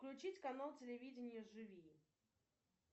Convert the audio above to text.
включить канал телевидение живи